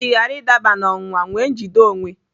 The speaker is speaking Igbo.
Iji ghara ịdaba n'ọnwụnwa, nwee njide onwe.